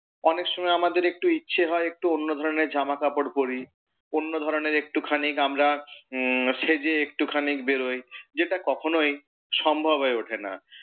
অনেক সময় আমাদের একটু ইচ্ছে হয় একটু অন্য ধরণের জামা কাপড় পড়ি, অন্য ধরণের একটু খানি আমরা উম সেজে একটুখানি বেরোই, যেটা কখনই সম্ভব হয়ে ওঠে না।